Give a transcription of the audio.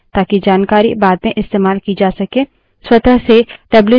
हम इसे file में store करना चाहते हैं ताकि जानकारी बाद में इस्तेमाल की जा सके